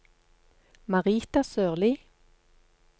Marita Sørlie